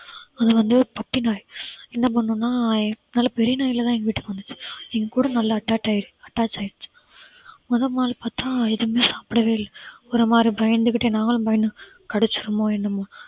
அது வந்து ஒரு puppy நாய். என்ன பண்ணுனா நல்ல பெரிய நாயா தான் எங்க வீட்டுக்கு வந்துச்சு எங்க கூட நல்லா attract~ ஆயிடுச்சு attach ஆயிடுச்சு முதல் நாள் பார்த்தா எதுவுமே சாப்பிடவே இல்ல ஒரு மாதிரி பயந்துகிட்டு நாங்களும் பயந்துட்டோம் கடிச்சிருமோ என்னமோன்னு